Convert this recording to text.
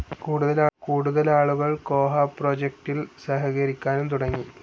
കൂടുതൽ ആളുകൾ കോഹ പ്രൊജക്ടിൽ സഹകരിക്കാനും തുടങ്ങി.